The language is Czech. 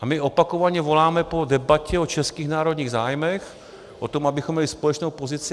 A my opakovaně voláme po debatě o českých národních zájmech, o tom, abychom měli společnou pozici.